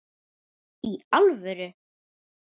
Í alvöru!?